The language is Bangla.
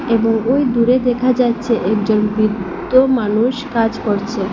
এবং ওই দূরে দেখা যাচ্ছে একজন বৃদ্দ মানুষ কাজ করছে।